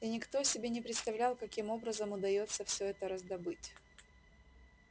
и никто себе не представлял каким образом удастся все это раздобыть